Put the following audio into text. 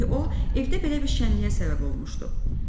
Çünki o, evdə belə bir şənliyə səbəb olmuşdu.